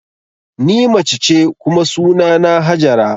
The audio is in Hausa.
Ni mace ce kuma sunana Hajara